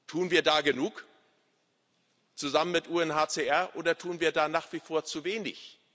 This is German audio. Tun wir da genug zusammen mit dem UNHCR, oder tun wir da nach wie vor zu wenig?